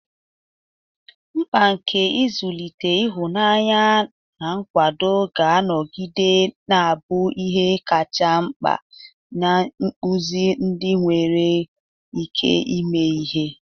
Mkpa nke nzụlite ịhụnanya na nkwado ga-anọgide na-abụ ihe kacha mkpa n'ịkpụzi ndị nwere ike ime ihe.